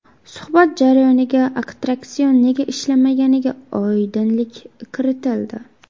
Suhbat jarayonida attraksion nega ishlamaganiga oydinlik kiritildi.